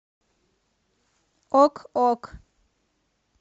ок ок